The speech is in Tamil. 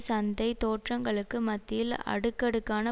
சந்தை தோற்றங்களுக்கு மத்தியில் அடுக்கடுக்கான